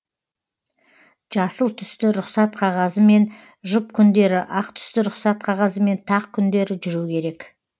жасыл түсті рұқсат қағазымен жұп күндері ақ түсті рұқсат қағазымен тақ күндері жүру керек